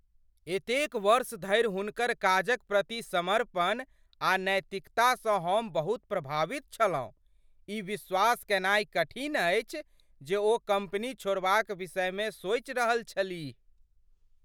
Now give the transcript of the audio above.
एतेक वर्ष धरि हुनकर काजक प्रति समर्पण आ नैतिकतासँ हम बहुत प्रभावित छलहुँ , ई विश्वास कयनाय कठिन अछि जे ओ कम्पनी छोड़बाक विषयमे सोचि रहल छलीह।